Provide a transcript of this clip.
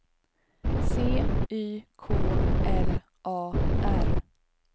C Y K L A R